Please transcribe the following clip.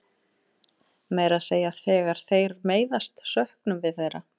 Meira að segja þegar þeir meiðast söknum við þeirra.